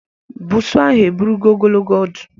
Buusu ahụ eburogo ogologo ọdụ.